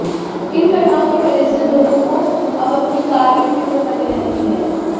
इन घटनाओं की वजह से लोगों को अब अपनी कार की फ़िक्र बनी रहती है